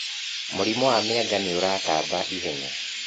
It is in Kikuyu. Mũrimũ ya mĩanga nĩũratamba ihenya.